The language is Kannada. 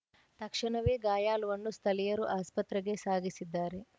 ತಕ್ಷಣವೇ ಗಾಯಾಳುವನ್ನು ಸ್ಥಳೀಯರು ಆಸ್ಪತ್ರೆಗೆ ಸಾಗಿಸಿದ್ದಾರೆ